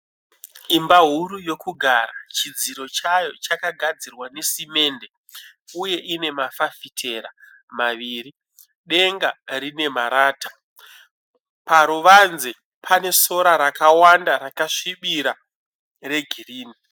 Imba huru yokugara , chidziro chaya chakagadzira ne simende, uye inema fafitera maviri ,denga rine marata .Paruvanze pane sora rakawanda rakasvibira regirinhi .